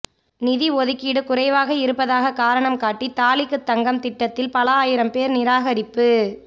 நிதி ஒதுக்கீடு குறைவாக இருப்பதாக காரணம் காட்டி தாலிக்கு தங்கம் திட்டத்தில் பல ஆயிரம் பேர் நிராகரிப்பு